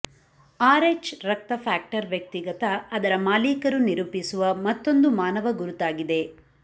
RH ರಕ್ತ factor ವ್ಯಕ್ತಿಗತ ಅದರ ಮಾಲೀಕರು ನಿರೂಪಿಸುವ ಮತ್ತೊಂದು ಮಾನವ ಗುರುತಾಗಿದೆ